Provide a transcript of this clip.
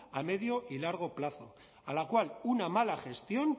a medio y largo plazo a la cual una mala gestión